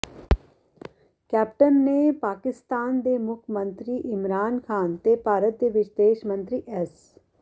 captain ਨੇ ਪਾਕਿਸਤਾਨ ਦੇ ਮੁੱਖ ਮੰਤਰੀ ਇਮਰਾਨ ਖ਼ਾਨ ਤੇ ਭਾਰਤ ਦੇ ਵਿਦੇਸ਼ ਮੰਤਰੀ ਐਸ